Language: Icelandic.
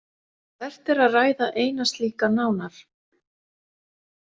Vert er að ræða eina slíka nánar.